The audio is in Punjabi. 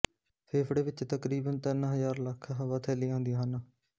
ਫੇਫੜੇ ਵਿਚ ਤਕਰੀਬਨ ਤਿੰਨ ਹਜ਼ਾਰ ਲੱਖ ਹਵਾਥੈਲੀਆਂ ਹੁੰਦੀਆਂ ਹਨ